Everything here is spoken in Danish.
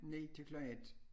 9 til klokken 1